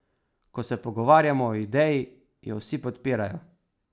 Ko se pogovarjamo o ideji, jo vsi podpirajo.